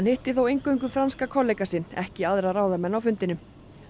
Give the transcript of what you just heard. hittir þó eingöngu franska kollega sinn ekki aðra ráðamenn á fundinum